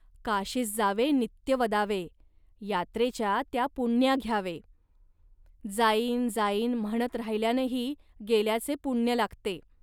काशीस जावे नित्य वदावे, यात्रेच्या त्या पुण्या घ्यावे. जाईन जाईन म्हणत राहिल्यानेही गेल्याचे पुण्य लागते